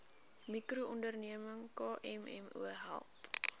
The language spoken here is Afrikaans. mikroonderneming kmmo help